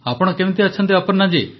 ଆପଣ କେମିତି ଅଛନ୍ତି ଅପର୍ଣ୍ଣାଜୀ